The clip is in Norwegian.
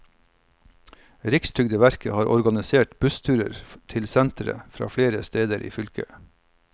Rikstrygdeverket har organisert bussruter til senteret fra flere steder i fylket.